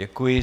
Děkuji.